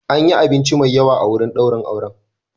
An yi abinci mai yawa a wurin daurin auren.